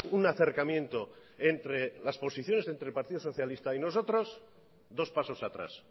un acercamiento entre las posiciones entre el partido socialista y nosotros dos pasos atrás